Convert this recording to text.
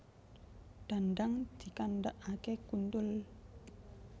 Dandang dikandakake kuntul